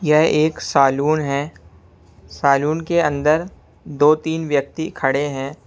यह एक सालून है सालून के अंदर दो तीन व्यक्ति खड़े हैं।